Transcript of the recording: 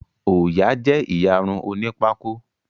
Ọya jé iyàrun òní Pákó.